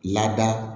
Lada